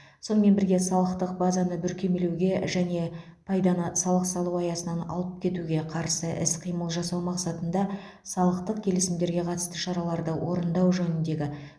сонымен бірге салықтық базаны бүркемелеуге және пайданы салық салу аясынан алып кетуге қарсы іс қимыл жасау мақсатында салықтық келісімдерге қатысты шараларды орындау жөніндегі